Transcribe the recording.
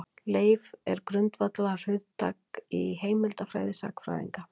Leif er grundvallarhugtak í heimildafræði sagnfræðinga.